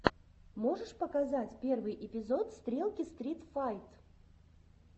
можешь показать первый эпизод стрелки стрит файт